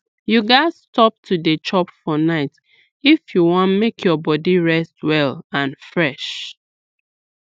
you gats stop to dey chop for night if you wan make your body rest well and fresh